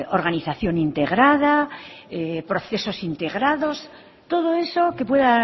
organización integrada procesos integrados todo eso que pueda